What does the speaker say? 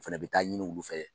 O fana bɛ taa ɲini olu fɛ yen